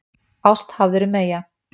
Ást hafðirðu meyja.